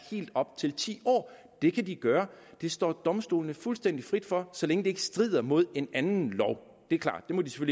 helt op til ti år det kan de gøre det står domstolene fuldstændig frit for så længe det ikke strider mod en anden lov det er klart det må det